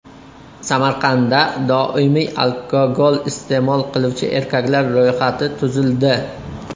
Samarqandda doimiy alkogol iste’mol qiluvchi erkaklar ro‘yxati tuzildi.